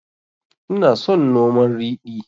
Ina son noman ridi